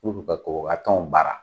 K'u bi ka koroka kanw baara.